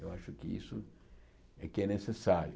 Eu acho que isso é que é necessário.